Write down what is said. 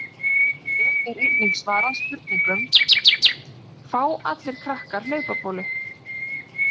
Hér er einnig svarað spurningunum: Fá allir krakkar hlaupabólu?